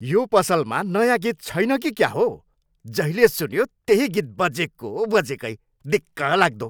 यो पसलमा नयाँ गीत छैन कि क्या हो! जहिल्यै सुन्यो त्यही गीत बजेको बजेकै। दिक्कलाग्दो!